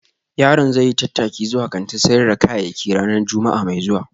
Yaron zai yi tattaki zuwa kantin sayar da kayayyaki ranar Juma'a mai zuwa